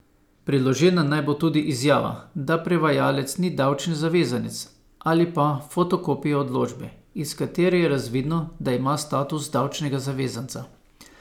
Priložena naj bo tudi izjava, da prevajalec ni davčni zavezanec, ali pa fotokopija odločbe, iz katere je razvidno, da ima status davčnega zavezanca.